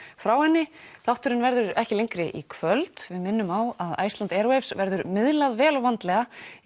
frá henni þátturinn verður þá ekki lengri í kvöld við minnum á að Iceland verður miðlað vel og vandlega